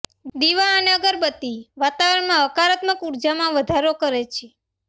દિવા અને અગરબત્તી વાતાવરણમાં હકારાત્મક ઊર્જામાં વધારો કરે છે